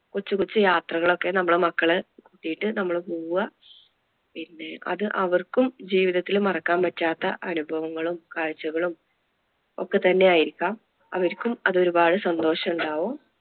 കൊച്ചു കൊച്ചു യാത്രകൾ ഒക്കെ നമ്മടെ മക്കളെ ആയിട്ട് നമ്മള് പോവുക. പിന്നെ അത് അവർക്കും ജീവിതത്തിൽ മറക്കാൻ പറ്റാത്ത അനുഭവങ്ങളും കാഴ്ച്ചകളും ഒക്കെ തന്നെ ആയിരിക്കാം അവർക്കും അത് ഒരുപാട് സന്തോഷം ഉണ്ടാകും.